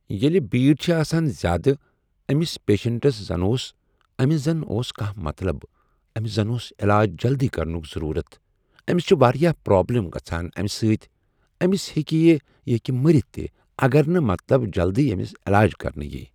ییٚلہِ بیٖڑ چھِ آسان زیادٕ أمِس پیشنٹس زن اوس أمِس زن اوس کانٛہہ مطلب أمِس زن اوس عٮ۪لاج جلدی کرنُک ضروٗرَت أمِس چھِ واریاہ پرابلِم گژھان امہِ سۭتۍ أمِس ہیٚکہِ یہِ ہیٚکہِ مٔرِتھ تہِ اگر نہٕ مطلب جلدی اَمِس علاج کرنہٕ یی